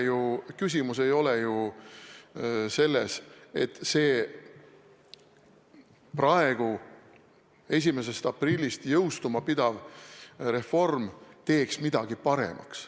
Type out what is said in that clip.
Ja küsimus ei ole ju selles, et see 1. aprillist jõustuma pidav reform teeks midagi paremaks.